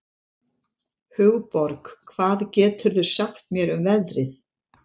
Hugborg, hvað geturðu sagt mér um veðrið?